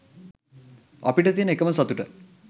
අපිට තියන එකම සතුට